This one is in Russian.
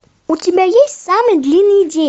у тебя есть самый длинный день